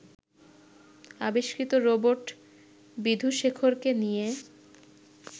আবিষ্কৃত রোবট বিধুশেখরকে নিয়ে